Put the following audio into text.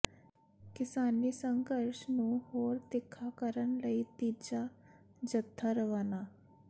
ਕਿਸਾਨੀ ਸੰਘਰਸ਼ ਨੂੰ ਹੋਰ ਤਿੱਖਾ ਕਰਨ ਲਈ ਤੀਜਾ ਜਥਾ ਰਵਾਨਾ